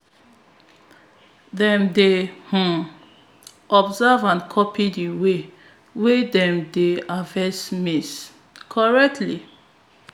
dem dey um observe and copy di way wey dem dey harvest maize correctly